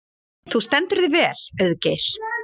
Þú stendur þig vel, Auðgeir!